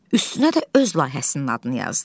Üstünə də öz layihəsinin adını yazdı.